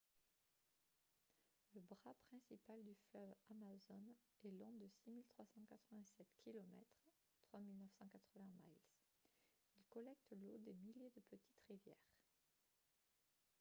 le bras principal du fleuve amazone est long de 6 387 km 3 980 miles. il collecte l'eau des milliers de petites rivières